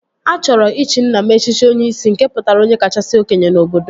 A chọrọ ịchị nna m echichi Onyishi nke pụtara onye kachasị okenye n'obodo